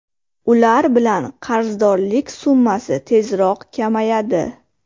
Ular bilan qarzdorlik summasi tezroq kamayadi.